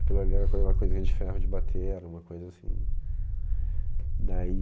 Aquilo ali era coisa uma coisinha de ferro de bater, era uma coisa assim... Daí...